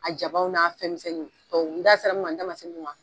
A jabaw n'a fɛn misɛnnuw, n da sera min ma n da ma se min ma